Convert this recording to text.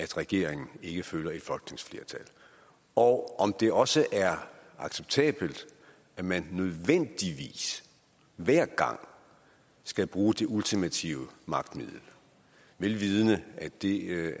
regeringen ikke følger et folketingsflertal og om det også er acceptabelt at man nødvendigvis hver gang skal bruge det ultimative magtmiddel vel vidende at det